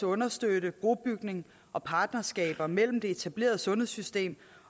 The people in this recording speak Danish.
understøtte brobygning og partnerskaber mellem det etablerede sundhedssystem